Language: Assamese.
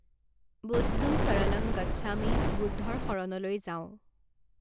বুদ্ধং শৰণং গচ্ছামি বুদ্ধৰ শৰণলৈ যাওঁ